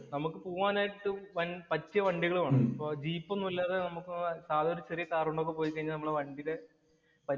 നമുക്ക് പോവാനായിട്ടു പറ്റിയ വണ്ടികള്‍ വേണം. ജീപ്പ് ഒന്നുമില്ലാതെ നമുക്ക് സാദാ ഒരു ചെറിയ കാര്‍ കൊണ്ട് ഒക്കെ കൊണ്ട് പോയി കഴിഞ്ഞാല്‍ നമ്മുടെ വണ്ടീടെ